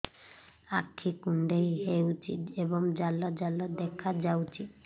ଆଖି କୁଣ୍ଡେଇ ହେଉଛି ଏବଂ ଜାଲ ଜାଲ ଦେଖାଯାଉଛି